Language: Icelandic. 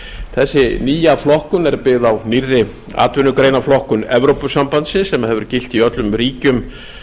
þessi nýja flokkun er byggð á nýrri atvinnugreinaflokkun evrópusambandsins sem hefur gilt í öllum ríkjum